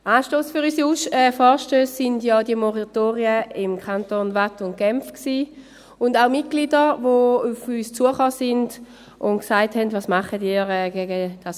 Anstoss für unsere Vorstösse waren ja die Moratorien in den Kantonen Waadt und Genf, und auch Mitglieder, die auf uns zugekommen sind und sagten: «Was tut ihr gegen 5G?